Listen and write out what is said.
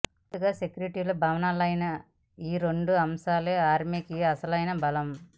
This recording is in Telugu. పూర్తిగా సెక్యులరిస్టు భావనలైన ఈ రెండు అంశాలే ఆర్మీకి అసలైన బలం